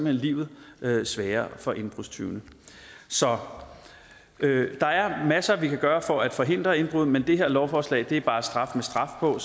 hen livet sværere for indbrudstyvene så der er masser vi kan gøre for at forhindre indbrud men det her lovforslag giver bare straf med straf på